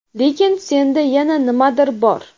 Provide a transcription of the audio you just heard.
Lekin senda yana nimadir bor.